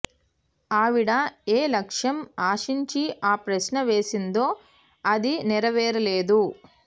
ఆవిడ ఎ లక్ష్యం ఆశించి ఆ ప్రశ్న వేసిందో అది నెరవేరలేదు